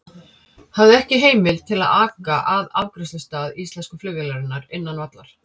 Hafði ekki heimild til að aka að afgreiðslustað íslensku flugvélarinnar innan vallar.